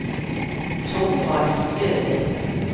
Thorvald Stølen